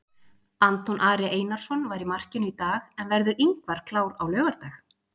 Anton Ari Einarsson var í markinu í dag en verður Ingvar klár á laugardag?